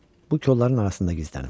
Bu kolların arasında gizlənim.